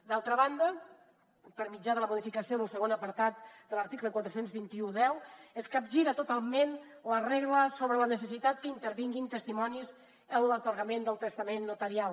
d’altra banda per mitjà de la modificació del segon apartat de l’article quaranta dos mil cent i deu es capgira totalment la regla sobre la necessitat que intervinguin testimonis en l’atorgament del testament notarial